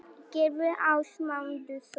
Gylfi Ásmundsson.